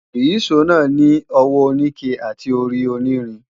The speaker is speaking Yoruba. Ìyíṣòó náà ní ọwọ́ oníke àti orí onírin